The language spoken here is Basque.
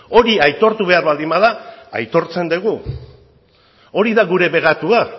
hori aitortu behar baldin bada aitortzen dugu hori da gure bekatua